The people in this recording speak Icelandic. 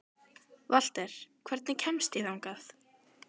Valter, hvernig kemst ég þangað?